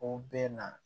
O bɛ na